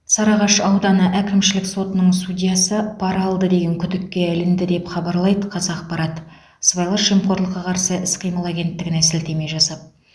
сарыағаш ауданы әкімшілік сотының судьясы пара алды деген күдікке ілінді деп хабарлайды қазақпарат сыбайлас жемқорлыққа қарсы іс қимыл агенттігіне сілтеме жасап